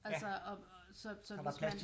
Altså og så så hvis man